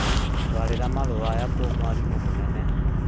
Ndwarĩra marũa maya kwĩ mwarimũ mũnene